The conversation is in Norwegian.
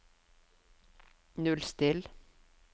nullstill